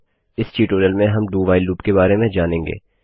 इस ट्यूटोरियल में हम do व्हाइल लूप के बारे में जानेंगे